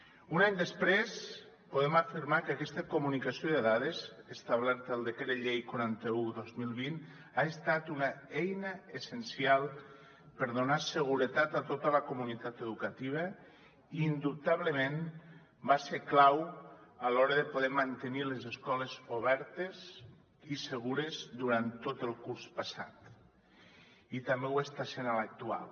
un any després podem afirmar que aquesta comunicació de dades establerta al decret llei quaranta un dos mil vint ha estat una eina essencial per donar seguretat a tota la comunitat educativa i indubtablement va ser clau a l’hora de poder mantenir les escoles obertes i segures durant tot el curs passat i també ho està sent a l’actual